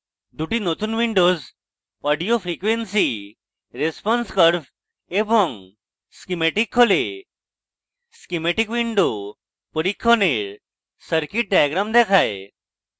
দুটি নতুন windows audio frequency response curve এবং schematic খোলে schematic windows পরীক্ষণের circuit diagram দেখায়